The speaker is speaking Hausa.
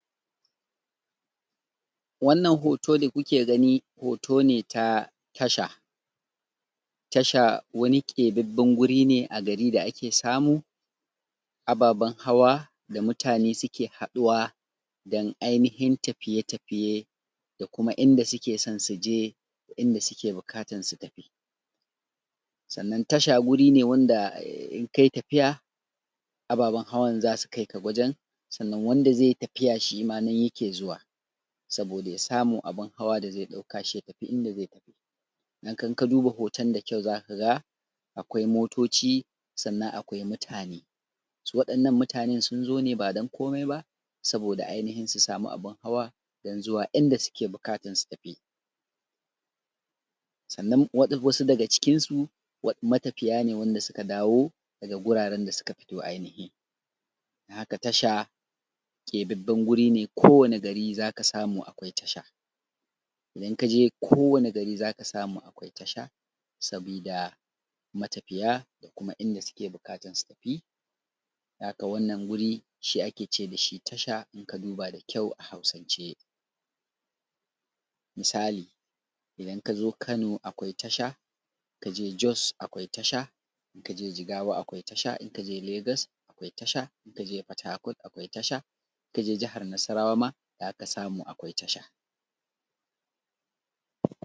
wannan hoto da kuke gani hoto ne ta tasha tasha wani keɓɓaɓɓen guri ne a gari da ake samun ababen hawa da mutane suke haɗuwa don ainihin tafiye tafiye da kuma inda suke son su je inda suke buƙatan su tafi sannan tasha guri ne wanda in kai tafiya ababen hawa za su kai ka wajen sannan wanda zai yi tafiya shima nan yake zu:wa sabo:da ja sa:mu abun hawa da zai ɗauka ʃi ja tafi inda zai tafi idan ka du:ba ho:ton da kjau za ka ga akwai moto:ʧi sannan akwai muta:ne su waɗannan mu:ta:nen sun zo ba ba don ko:mai ba sabo:da ainihin su sa:ma abun hawa don zuwa inda suke buƙatan su tafi sannan wasu daga cikin su matafiya ne wanda suka dawo daga guraren da suka fito ainihi don haka tasha keɓaɓɓan guri ne kowane gari za ka samu akwai tasha idan ka je kowane gari za ka samu akwai tasha sabida matafiya da kuma inda su ke buƙatan su tafi don haka wannan guri shi ake ce da shi tasha in ka duba da kyau a hausance misali idan ka zo kano akwai tasha ka je jos akwai tasha ka je jigawa akwai tasha in ka je legas akwai tasha ka je fatakot akwai tasha ka je jahar nasarawa ma za ka samu akwai tasha